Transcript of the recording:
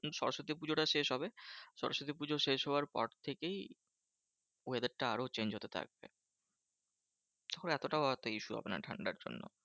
সরস্বতী পুজোটা শেষ হবে। সরস্বতী পুজো শেষ হওয়ার পর থেকেই weather টা আরো change হতে থাকবে। তখন এতটাও আর এত issue হবে না ঠান্ডার জন্য।